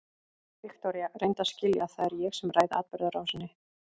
Viktoría, reyndu að skilja að það er ég sem ræð atburðarásinni.